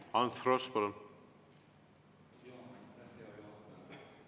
Ants Frosch, palun!